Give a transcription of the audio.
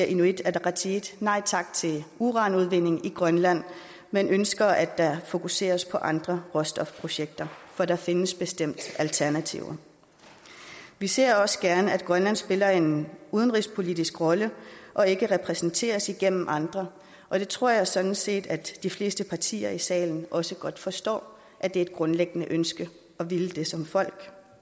inuit ataqatigiit nej tak til uranudvinding i grønland men vi ønsker at der fokuseres på andre råstofprojekter for der findes bestemt alternativer vi ser også gerne at grønland spiller en udenrigspolitisk rolle og ikke repræsenteres igennem andre og det tror jeg sådan set de fleste partier i salen også godt forstår er et grundlæggende ønske at ville som et folk